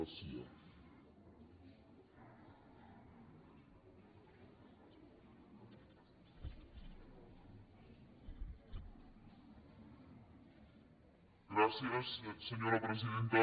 gràcies senyora presidenta